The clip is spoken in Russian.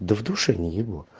в душе не ебу